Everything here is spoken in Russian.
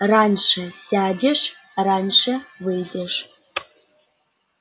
раньше сядешь раньше выйдешь